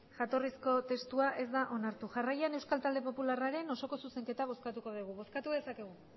jatorrizko testua ez da onartu jarraian euskal talde popularraren osoko zuzenketa bozkatuko dugu bozkatu dezakegu